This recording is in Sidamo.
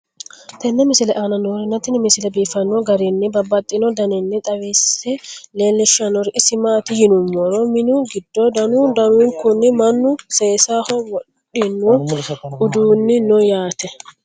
tenne misile aana noorina tini misile biiffanno garinni babaxxinno daniinni xawisse leelishanori isi maati yinummoro minnu giddo danu danunkunni mannu seessaho wodhinno uduunni noo yaatte